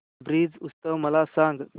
ब्रज उत्सव मला सांग